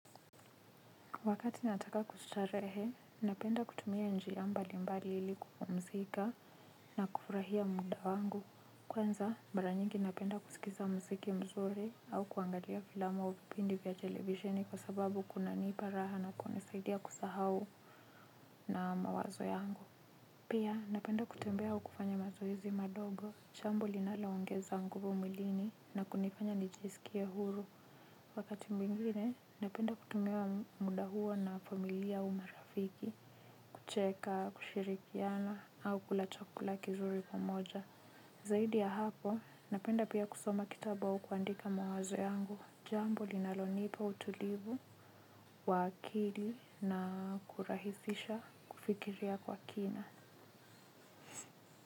Wakati nataka kustarehe, napenda kutumia njia mbali mbali ili kupumzika na kufurahia muda wangu. Kwanza, mara nyingi napenda kusikiza mziki mzuri au kuangalia filamu au vipindi vya televisheni kwa sababu kuna nipa raha na kuna nisaidia kusahau na mawazo yangu. Pia, napenda kutembea au kufanya mazoezi madogo, chambo linalo ongeza nguvu mwilini na kunifanya nijisikie huru. Wakati mwingine, napenda kutumia muda huo na familia au marafiki, kucheka, kushirikiana, au kula chakula kizuri kwa moja. Zaidi ya hapo, napenda pia kusoma kitabu au kuandika mawazo yangu, jambo linalonipa utulivu, wa akili na kurahisisha kufikiria kwa kina.